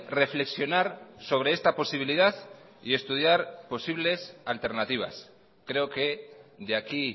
reflexionar sobre esta posibilidad y estudiar posibles alternativas creo que de aquí